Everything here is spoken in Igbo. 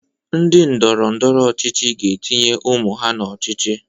Ndị ndọrọ ndọrọ ọchịchị ga-etinye ụmụ ha n'ọchịchị.